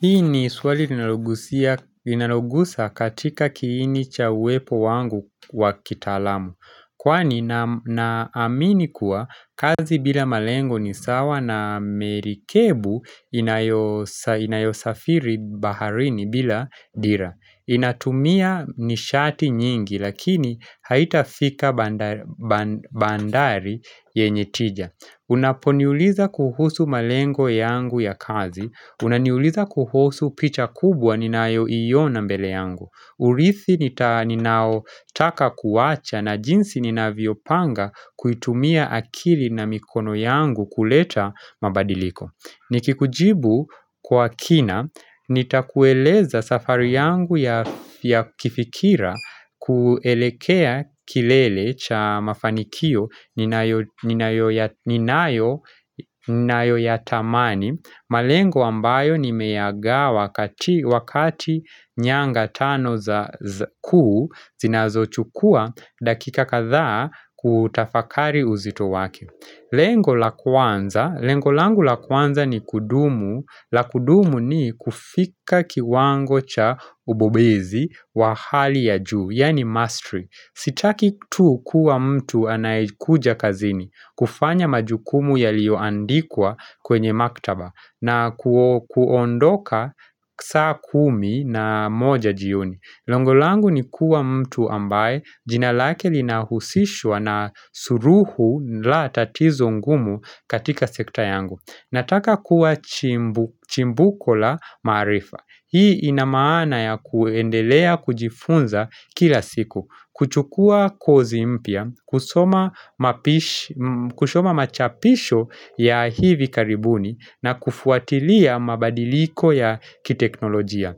Hii ni swali inalogusia inalogusa katika kiini cha uwepo wangu wa kitaalamu. Kwani na amini kuwa kazi bila malengo ni sawa na merikebu inayo inayosafiri baharini bila dira. Inatumia nishati nyingi lakini haitafika bandar band bandari yenye tija. Unaponiuliza kuhusu malengo yangu ya kazi unaniuliza kuhusu picha kubwa ninayoiona mbele yangu urithi ninaotaka kuwacha na jinsi ninavyopanga kuitumia akili na mikono yangu kuleta mabadiliko Nikikujibu kwa kina, nitakueleza safari yangu ya kifikira kuelekea kilele cha mafanikio ninayo ninayo ya ninayo ninayo yatamani malengo ambayo nimeyagawa wakati nyanga tano za kuu Zinazochukua dakika kadhaa kuutafakari uzito wake Lengo la kwanza, lengo langu la kwanza ni kudumu la kudumu ni kufika kiwango cha ubobezi wa hali ya juu Yani mastery Sitaki tu kuwa mtu anayekuja kazini kufanya majukumu yaliyoandikwa kwenye maktaba na kuondoka saa kumi na moja jioni Lengo langu ni kuwa mtu ambaye jina lake linahusishwa na suluhu la tatizo ngumu katika sekta yangu Nataka kuwa chimbu chimbuko la maarifa. Hii inamaana ya kuendelea kujifunza kila siku, kuchukua kozi mpya, kusoma mapish kusoma machapisho ya hivi karibuni na kufuatilia mabadiliko ya kiteknolojia.